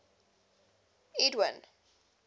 edwin